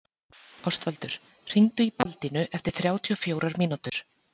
Ástvaldur, hringdu í Baldínu eftir þrjátíu og fjórar mínútur.